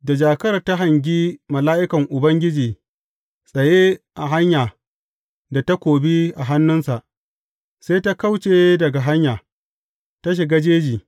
Da jakar ta hangi mala’ikan Ubangiji tsaye a hanya da takobi a hannunsa, sai ta kauce daga hanya, ta shiga jeji.